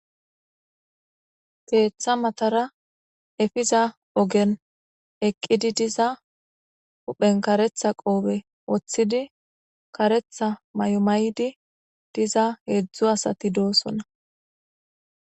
keeththa matara efiza ogen eqqidi diza huphen karetha qoobe woththidi karetha may7o maydi diza heedzdzu asati doosona